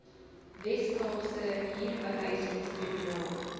wes kaapse huurbehuisingstribunaal